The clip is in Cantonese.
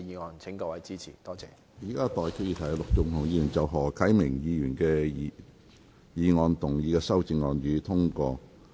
我現在向各位提出的待議議題是：陸頌雄議員就何啟明議員議案動議的修正案，予以通過。